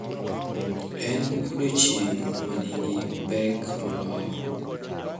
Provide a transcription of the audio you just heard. En odiechieng` manigi pek moloyo.